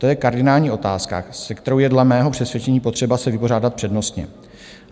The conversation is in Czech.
To je kardinální otázka, se kterou je dle mého přesvědčení potřeba se vypořádat přednostně.